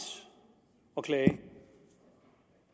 at klage